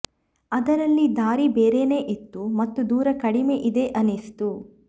ಅದರಲ್ಲಿ ದಾರಿ ಬೇರೇನೇ ಇತ್ತು ಮತ್ತು ದೂರ ಕಡಿಮೆ ಇದೆ ಅನ್ನಿಸ್ತು